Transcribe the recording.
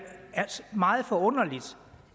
meget forunderligt og